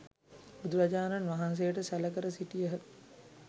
බුදුරජාණන් වහන්සේට සැළ කර සිටියහ.